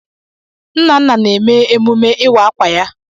Nnanna na-eme emume ịwa ákwà ya.